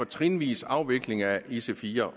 trinvis afvikling af ic4